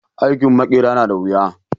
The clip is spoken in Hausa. Aikin maƙera na da wuya